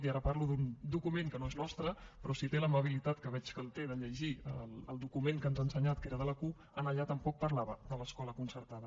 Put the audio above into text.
i ara parlo d’un document que no és nostre però si té l’amabilitat que veig que el té de llegir el document que ens ha ensenyat que era de la cup allà tampoc parlava de l’escola concertada